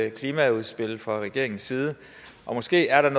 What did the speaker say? et klimaudspil fra regeringens side og måske er der i